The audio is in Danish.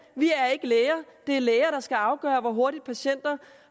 vi er ikke læger og det er læger der skal afgøre hvor hurtigt patienter